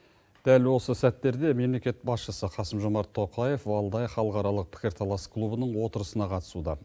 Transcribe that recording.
дәл осы сәттерде мемлекет басшысы қасым жомарт тоқаев валдай халықаралық пікір талас клубының отырысына қатысуда